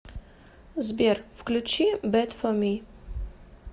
сбер включи бэд фор ми